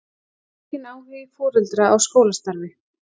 Aukinn áhugi foreldra á skólastarfi